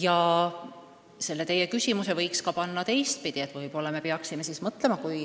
Ja teie küsimuse võiks ka teistpidi keerata.